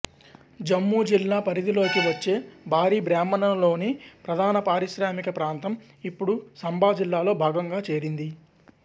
జమ్మూ జిల్లా పరిధిలోకి వచ్చే బారి బ్రాహ్మణ లోని ప్రధాన పారిశ్రామిక ప్రాంతం ఇప్పుడు సంబా జిల్లాలో భాగంగా చేరింది